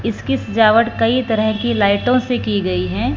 इसकी सजावट कई तरह की लाइटों से की गई है।